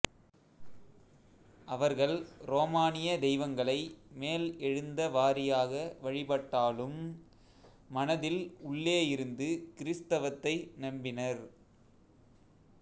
அவர்கள் ரோமானிய தெய்வங்களை மேல் எழுந்த வாரியாக வழிபட்டாலும்ம் மனதில் உள்ளே இருந்து கிறிஸ்தவத்தை நம்பினர்